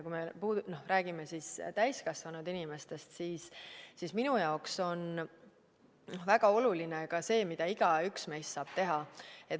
Kui me räägime täiskasvanud inimestest, siis minu jaoks on väga oluline ka see, mida igaüks meist saab teha.